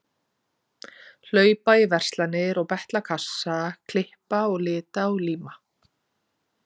Hlaupa í verslanir og betla kassa, klippa og lita og líma.